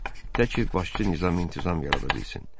Təki başçı nizam-intizam yarada bilsin.